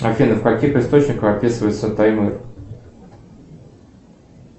афина в каких источниках описывается таймыр